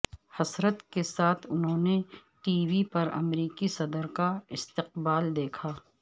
حسرت کے ساتھ انھوں نے ٹی وی پر امریکی صدر کا استقبال دیکھا